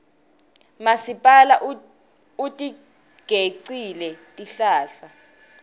masipala utigecile tihlahla